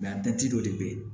dɔ de bɛ yen